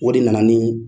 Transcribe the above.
O de nana ni